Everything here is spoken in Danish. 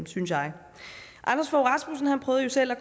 synes jeg anders fogh rasmussen prøvede selv at